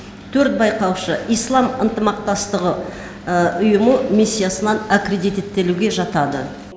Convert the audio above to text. төрт байқаушы ислам ынтымақтастығы ұйымы миссиясынан аккредиттелуге жатады